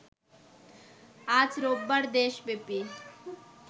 আজ রোববার দেশব্যাপী